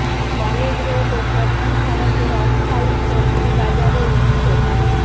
college road ও প্রধান সড়কের অস্থায়ী সবজি বাজারও উচ্ছেদ